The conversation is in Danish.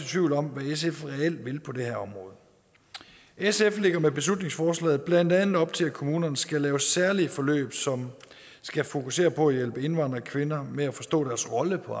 tvivl om hvad sf reelt vil på det her område sf lægger med beslutningsforslaget blandt andet op til at kommunerne skal lave særlige forløb som skal fokusere på at hjælpe indvandrerkvinder med at forstå deres rolle på